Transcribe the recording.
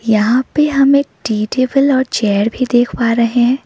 यहां पे हम एक टी टेबल और चेयर भी देख पा रहे हैं।